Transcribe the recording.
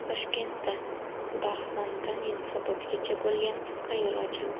Toshkentda Darxondan Yunusobodgacha bo‘lgan qisqa yo‘l ochildi.